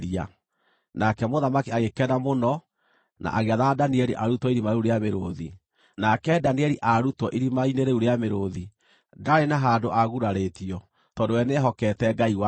Nake mũthamaki agĩkena mũno na agĩathana Danieli arutwo irima rĩu rĩa mĩrũũthi. Nake Danieli aarutwo irima-inĩ rĩu rĩa mĩrũũthi, ndaarĩ na handũ aagurarĩtio, tondũ we nĩehokete Ngai wake.